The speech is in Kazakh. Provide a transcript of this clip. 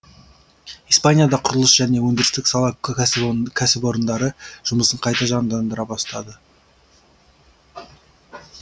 испанияда құрылыс және өндірістік сала кәсіпорындары жұмысын қайта жандандыра бастады